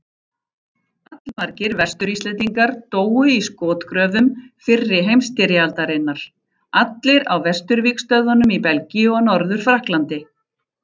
Allmargir Vestur-Íslendingar dóu í skotgröfum fyrri heimsstyrjaldarinnar, allir á vesturvígstöðvunum í Belgíu og Norður-Frakklandi.